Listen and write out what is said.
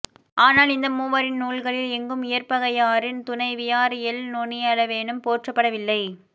ஆனால் இந்த மூவரின் நூல்களில் எங்கும் இயற்பகையாரின் துணைவியார் எள் நுணியளவேனும் போற்றப் படவில்லை